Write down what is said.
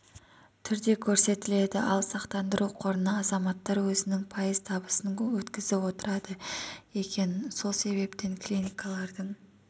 түрде көрсетіледі ал сақтандыру қорына азаматтар өзінің пайыз табысын өткізіп отырады екен сол себептен клиникалардың